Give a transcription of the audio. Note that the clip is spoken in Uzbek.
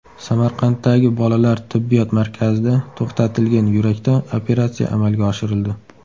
Samarqanddagi bolalar tibbiyot markazida to‘xtatilgan yurakda operatsiya amalga oshirildi.